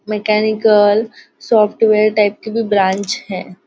Mechanical software type की कोंई branch है।